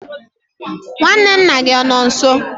nwanne nna gị ọ nọ nso?